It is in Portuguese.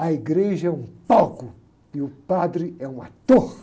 A igreja é um palco e o padre é um ator.